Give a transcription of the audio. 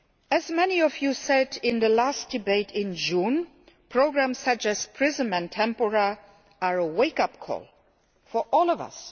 As many of you said in our last debate in June, programmes such as PRISM and Tempora are a wake up call for all of us